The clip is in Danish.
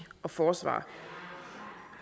og forsvar